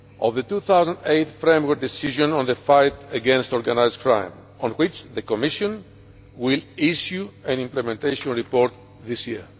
the 2008 Framework Decision on the fight against organised crime, on which the Commission will issue an implementation report this year.